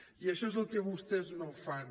i això és el que vostès no fan